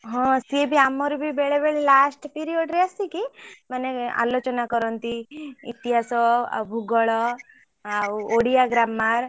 ହଁ ସିଏ ବି ଆମର ବି ବେଳେବେଳେ last period ରେ ଆସିକି ମାନେ ଆଲୋଚନା କରନ୍ତି ଇତିହାସ ଆଉ ଭୂଗୋଳ ଆଉ ଓଡିଆ grammar ।